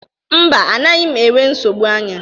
Mba, anaghị m enwe nsogbu anya